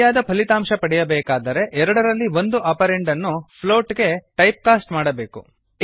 ಸರಿಯಾದ ಫಲಿತಾಂಶ ಪಡೆಯಬೇಕಾದರೆ ಎರಡರಲ್ಲಿ ಒಂದು ಆಪರಂಡ್ ಅನ್ನು ಫ್ಲೋಟ್ ಗೆ ಟೈಪ್ ಕಾಸ್ಟ್ ಮಾಡಬೇಕು